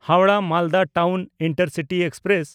Howrah-Malda town intercity express